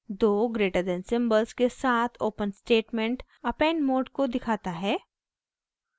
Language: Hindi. दो greater than >> सिम्बल्स के साथ open स्टेटमेंट append मोड को दिखाता है